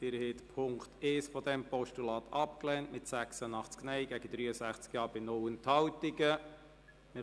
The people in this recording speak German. Sie haben den Punkt 1 dieses Postulats mit 86 Nein- gegen 63 Ja-Stimmen bei 0 Enthaltungen abgelehnt.